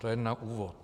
To jen na úvod.